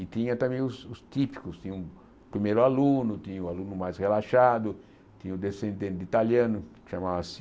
E tinha também os os típicos, tinha o primeiro aluno, tinha o aluno mais relaxado, tinha o descendente italiano, que chamava-se...